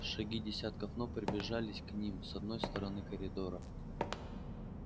шаги десятков ног приближались к ним с одной стороны коридора